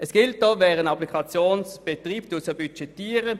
Es gilt, wer eine Applikation betreibt, budgetiert sie auch.